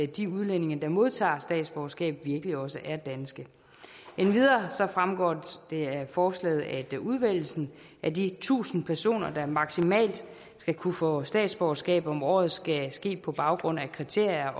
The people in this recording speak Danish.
de udlændinge der modtager statsborgerskab virkelig også er danske endvidere fremgår det af forslaget at udvælgelsen af de tusind personer der maksimalt skal kunne få statsborgerskab om året skal ske på baggrund af kriterier